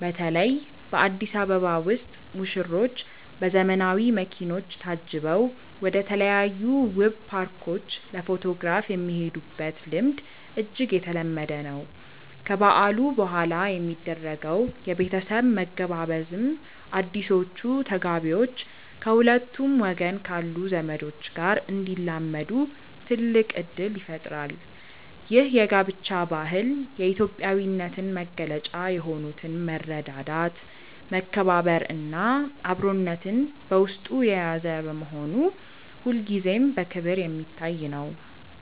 በተለይ በአዲስ አበባ ውስጥ ሙሽሮች በዘመናዊ መኪኖች ታጅበው ወደተለያዩ ውብ ፓርኮች ለፎቶግራፍ የሚሄዱበት ልምድ እጅግ የተለመደ ነው። ከበዓሉ በኋላ የሚደረገው የቤተሰብ መገባበዝም አዲሶቹ ተጋቢዎች ከሁለቱም ወገን ካሉ ዘመዶች ጋር እንዲላመዱ ትልቅ እድል ይፈጥራል። ይህ የጋብቻ ባህል የኢትዮጵያዊነትን መገለጫ የሆኑትን መረዳዳት፣ መከባበር እና አብሮነትን በውስጡ የያዘ በመሆኑ ሁልጊዜም በክብር የሚታይ ነው።